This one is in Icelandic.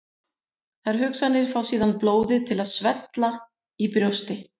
Þær hugsanir fá síðan blóðið til að svella í brjósti.